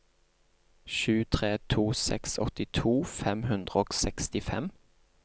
sju tre to seks åttito fem hundre og sekstifem